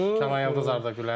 Kənan Yıldız Arda Güler.